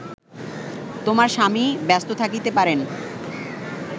তোমার স্বামী ব্যস্ত থাকিতে পারেন